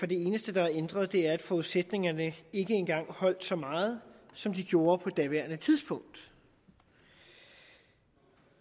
det eneste der er ændret er at forudsætningerne ikke engang holdt så meget som de gjorde på daværende tidspunkt vi